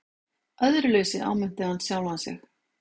Æðruleysi, áminnti hann sjálfan sig.